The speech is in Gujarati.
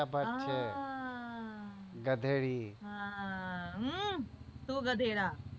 ભ છે ગધેડ તું ગધેડા